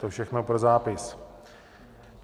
To všechno pro zápis.